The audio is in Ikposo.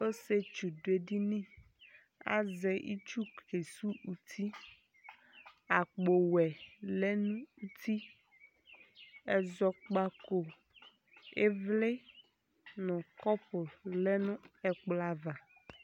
ɔsietsu do edini azɛ itsu ke su uti akpo wɛ lɛ no uti ɛzɔkpako ivli no kɔpu lɛ no ɛkplɔ ava